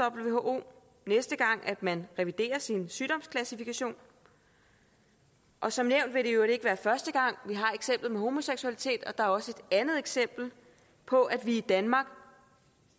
who næste gang man reviderer sin sygdomsklassifikation og som nævnt vil det i øvrigt ikke være første gang vi har eksemplet med homoseksualitet og der er også et andet eksempel på at vi i danmark